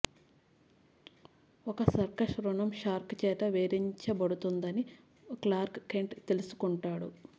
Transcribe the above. ఒక సర్కస్ రుణం షార్క్ చేత వేధించబడుతుందని క్లార్క్ కెంట్ తెలుసుకుంటాడు